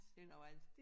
Det noget andet